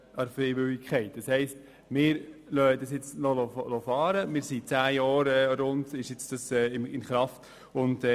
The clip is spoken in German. Das heisst, wir lassen es fahren, nachdem das Verfahren für die freiwillige Einführung von Regionalkonferenzen seit rund zehn Jahren in Kraft ist.